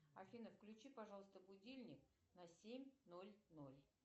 афина включи пожалуйста будильник на семь ноль ноль